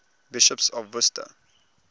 bishops of worcester